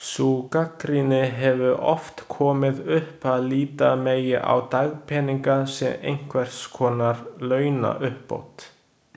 Sú gagnrýni hefur oft komið upp að líta megi á dagpeninga sem einhvers konar launauppbót.